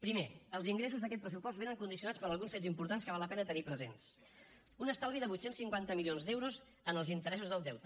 primer els ingressos d’aquest pressupost vénen condicionats per alguns fets importants que val la pena tenir presents un estalvi de vuit cents i cinquanta milions d’euros en els interessos del deute